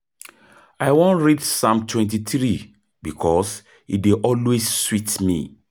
I wan read Psalm 23 bikos e dey always sweet me.